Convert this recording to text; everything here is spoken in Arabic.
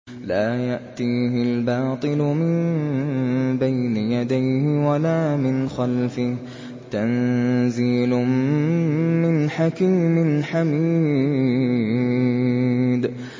لَّا يَأْتِيهِ الْبَاطِلُ مِن بَيْنِ يَدَيْهِ وَلَا مِنْ خَلْفِهِ ۖ تَنزِيلٌ مِّنْ حَكِيمٍ حَمِيدٍ